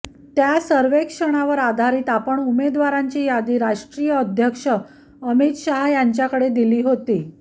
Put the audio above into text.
त्या सर्वेक्षणावर आधारीत आपण उमेदवारांची यादी राष्ट्रीय अध्यक्ष अमित शाह यांच्याकडे दिली होती